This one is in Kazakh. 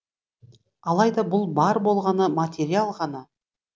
алайда бұл бар болғаны материал ғана